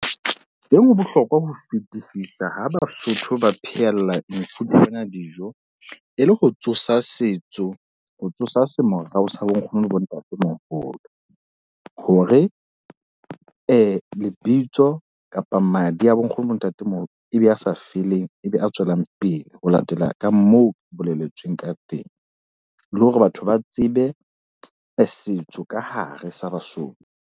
Teng ho bohlokwa ho fetisisa ha Basotho ba phehella mefuta ya dijo. E le ho tsosa setso, ho tsosa sa bonkgono le bontatemoholo. Hore lebitso kapa madi a bonkgono bontatemoholo, ebe a sa feleng ebe a tswelang pele. Ho latela ka moo boleletsweng ka teng. Le hore batho ba tsebe setso ka hare sa Basotho.